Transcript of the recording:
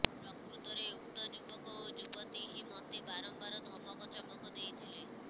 ପ୍ରକୃତରେ ଉକ୍ତ ଯୁବକ ଓ ଯୁବତୀ ହିଁ ମୋତେ ବାରମ୍ବାର ଧମକ ଚମକ ଦେଇଥିଲେ